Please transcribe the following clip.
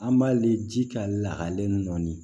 An b'a ye ji ka lakalen nɔ